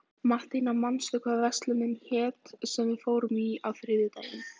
Mattíana, manstu hvað verslunin hét sem við fórum í á þriðjudaginn?